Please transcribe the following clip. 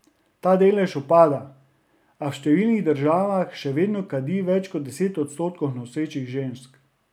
Ta delež upada, a v številnih državah še vedno kadi več kot deset odstotkov nosečih žensk.